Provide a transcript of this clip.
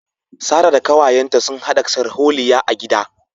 Sarah da kawayenta sun hada sharholiya a gida